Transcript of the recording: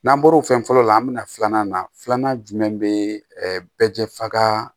N'an bɔr'o fɛn fɔlɔ la an bɛna filanan na filanan jumɛn bɛ bɛɛ jɛfaga